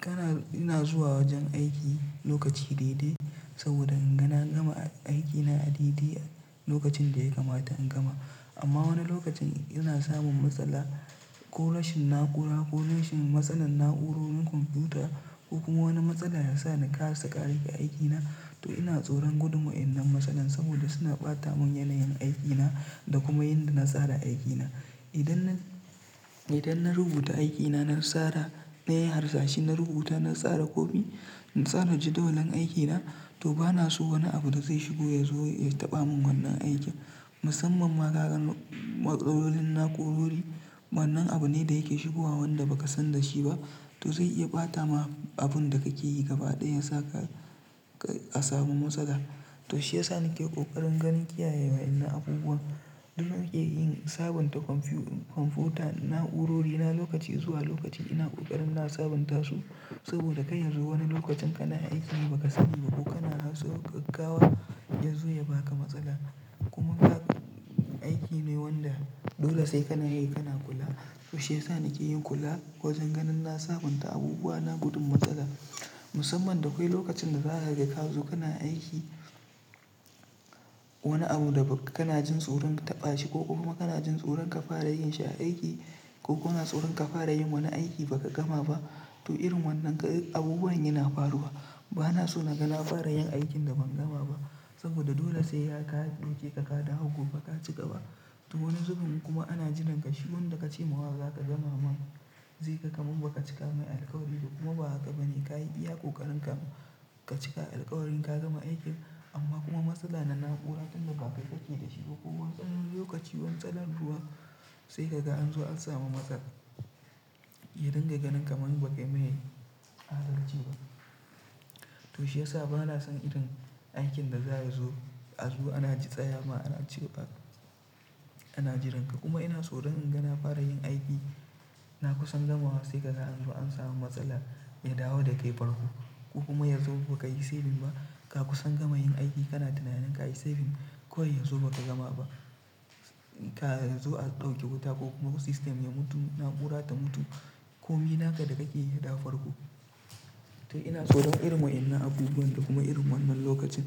Kana-- ina zuwa wajen aiki lokaci daidai saboda inga na gama aikin na a daidai lokacin da ya kamata in gama. Amma wani lokacin ina samun matsala ko rashin na'ura ko rashin matsalar na'urorin kwamfuta ko kuma wani matsala ya sa na ka asa ƙarashe aikina. To ina tsoron gudum wa innan matsalan saboda suna ɓata mun yanayin aikina da kuma yadda na tsara aikina. Idan na, idan na rubuta aikina, na tsara, na yi harsashi, na rubuta, na tsara komi, zanaji dolen aikina to bana so wani abu da zai shigo ya zo ya taɓa mun wannan aikin. Musamman ma kagan matsalolin na'ƙurori wannan abu ne da yake shigowa wanda baka san da shi ba. To zai iya ɓata ma abun da kake yi gaba ɗaya ya sa ka, ka a samu matsala. To shi ya sa nake ƙoƙarin ganin kiyaye wa'innan abubuwa. Duk da nake yin sabunta kwamfu- kwamfuta, na'urori na lokaci zuwa lokaci ina ƙoƙarin na sabunta su saboda kai ya zo wani lokacin kana aiki ba ka sani ba ko kana so gaggawa yazo ya baka matsala. Kuma ga aiki ne wanda dole sai kana yi, kana kula. To shi ya sa nake yin kula wajen ganin na sabunta abubuwa na gudun matsala. Musamman da kwai lokacin da za ka ga ka zo kana aiki wani abu da ba kana jin tsoron ka taɓa shi ko kuma kana jin tsoron ka fara yin shi aiki ko kana tsoron ka fara yin wani aiki baka gama ba. To irin wannan abubuwan yana faruwa. Bana so na ga na fara yin aikin da ban gama ba saboda dole sai ya ƙara ɗauke ka ka dawo gobe ka ci gaba. To wani zubin kuma ana jiran ka shi wanda ka ce ma wa za ka gama ma zai ga kaman ba ka cika mai alƙawari ba kuma ba haka bane. Ka yi iya ƙoƙarin ka, ka cika alkawarin ka gama aikin amma kuma matsala na na'ura tun da ba kai kake da shi ba ko wani ɗan lokaci wani matsalan ruwa sai ka ga an zo an samu matsala. Yadinga ganin kaman ba kai mai adalci ba. To shi ya sa bana son irin aikin da za ya zo a zo ana ji tsaya ma ana cewa, Ana jiranka, kuma ina tsoron in ga na fara yin aiki na kusan gamawa sai ka ga an zo an samu matsala ya dawo da kai farko, ko kuma yazo ba ka yi saving ba, Ka kusan gama yin aiki kana tunanin ka yi saving, kawai yanzu ba ka gama ba. Ka yazo a ɗauke wuta, ko kuma system ya mutu, na'ura ta mutu, ko mi naka da kake yadawo farko. To ina tsoron irin wa'innan abubuwan da kuma irin wannan lokacin,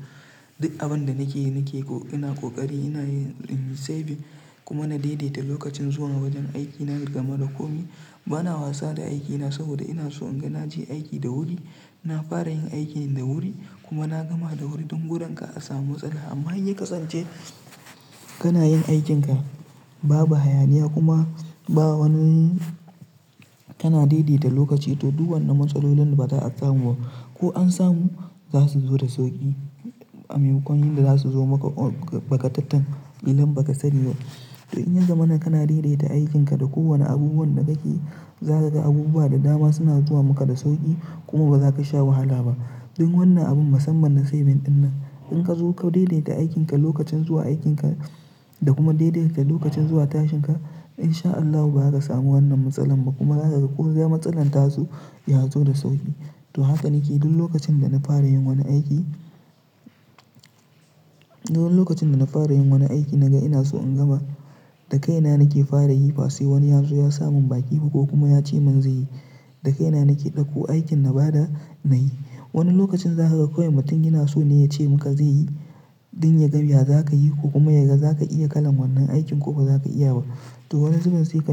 duk abin da nake yi nake ko, ina ƙoƙari ina yin saving, kuma na daidaita lokacin zuwa wajen aikina duk gama da komi. Bana wasa da aikina saboda ina so in ga na je aiki da wuri, na fara yin aikina da wuri kuma na gama da wuri don gudun ka a samu matsala. Amma in ya kasance kana yin aikinka babu hayaniya, kuma ba wani, kana daidaita lokaci to duk wannan matsalolin ba za'a samu ba. Ko an samu za su zo da sauƙi. Amaimakon yinda za su zo maka bagatatan ƙilan ba ka sani ba. To in ya zamana kana daidaita aikinka da kowane abubuwan da kake yi, za ka ga abubuwa da dama suna zuwa maka da sauƙi, kuma ba za ka sha wahala ba. Don wannan abin musamman na saving dinnan, in ka zo ka daidaita aikinka lokacin zuwa aikinka da kuma daidaita lokacin zuwa tashinka, in sha Allahu ba za ka samu wannan matsalan ba, kuma zakaga ko za-- matsalan ta zo, ya zo da sauƙi. To haka nake duk lokacin da na fara yin wani aiki, Duk lokacin da na fara yin wani aiki naga ina so in gama da kaina nake fara yi ba sai wani ya zo ya sa mun baki ba ko kuma ya ce mun zai yi. Da kaina nake ɗauko aikin na bada na yi. Wani lokacin za ka ga kawai mutum yana so ne ya ce maka zai yi don ya ga ya za ka yi ko kuma ya ga za ka iya kalan wannan aikin ko ba za ka iyaba. To wani zubin sai ka.